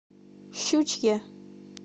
щучье